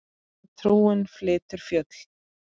Að trúin flytur fjöll.